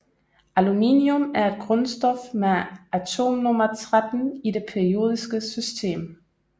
Aluminium er et grundstof med atomnummer 13 i det periodiske system